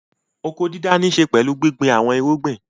Oko-dídá níṣe pẹ̀lú gbíngbin àwọn irúgbìn.